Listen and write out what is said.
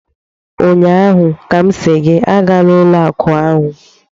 Ụnyaahụ ka m sị gị agala ụlọ akụ ahụ!